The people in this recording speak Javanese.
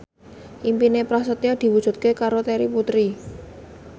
impine Prasetyo diwujudke karo Terry Putri